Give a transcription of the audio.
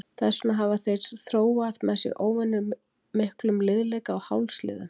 Þess vegna hafa þær þróað með sér óvenjumiklum liðleika á hálsliðum.